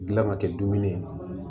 Gilan ka kɛ dumuni ye